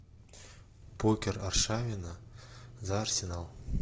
покер аршавина за арсенал